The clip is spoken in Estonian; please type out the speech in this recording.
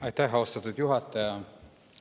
Aitäh, austatud juhataja!